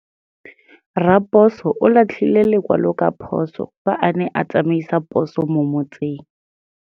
Raposo o latlhie lekwalô ka phosô fa a ne a tsamaisa poso mo motseng.